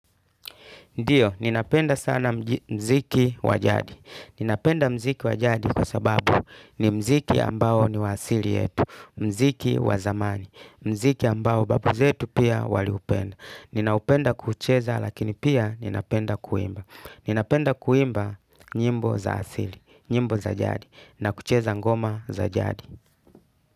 Ndiyo, ninapenda sana mziki wa jadi. Ninapenda mziki wa jadi kwa sababu ni mziki ambao ni asili yetu. Mziki wa zamani. Mziki ambao babu zetu pia waliupenda. Ninapenda kucheza lakini pia ninapenda kuimba. Ninapenda kuimba nyimbo za asili. Nyimbo za jadi. Na kucheza ngoma za jadi.